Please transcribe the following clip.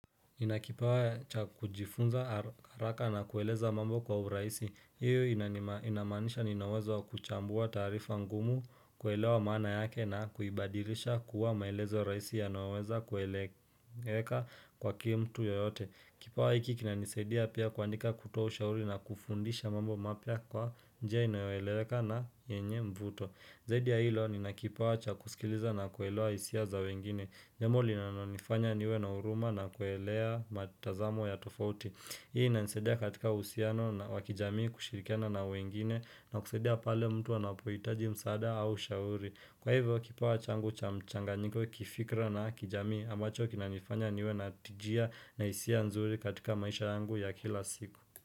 Ninakipawa cha kujifunza ara haraka na kueleza mambo kwa urahisi, hiyo inaamanisha ninawezo kuchambua taarifa ngumu kuelewa maana yake na kuibadirisha kuwa maelezo rahisi yanaoweza kueleweka kwake mtu yoyote. Kipawa hiki kinanisadia pia kuandika, kutoa ushauri na kufundisha mambo mapya kwa njia inayoeleweka na yenye mvuto. Zaidi ya hilo, ninakipawa cha kusikiliza na kuelewa hisia za wengine. Njambo linalo nifanya niwe na huruma na kuelewa matazamo ya tofauti. Hii inanisaidia katika uhusiano na wakijamii kushirikiana na wengine na kusaidia pale mtu anapohitaji msaada au ushauri. Kwa hivyo, kipawa changu cha mchanganyiko, kifikra na kijamii ambacho kinanifanya niwe na tijia na isia nzuri katika maisha yangu ya kila siku.